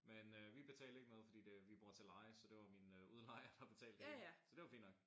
Men øh vi betalte ikke noget fordi det vi bor til leje så det var min udlejer der betalte det. Så det var fint nok